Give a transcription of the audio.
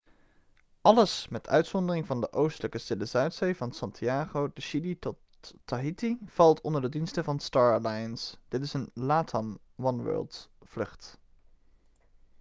alles met uizondering van de oostelijke stille zuidzee van santiago de chile tot tahiti valt onder de diensten van star alliance dit is een latam oneworld-vlucht